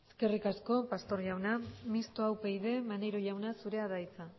eskerrik asko pastor jauna mixtoa upyd maneiro jauna zurea da hitza